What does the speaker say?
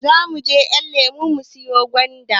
Zamuje ƴanlemo siyo gwanda